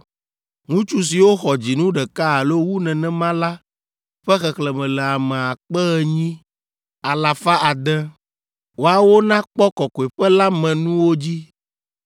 Ŋutsu siwo xɔ dzinu ɖeka alo wu nenema la ƒe xexlẽme le ame akpe enyi, alafa ade (8,600). Woawo nakpɔ kɔkɔeƒe la me nuwo dzi.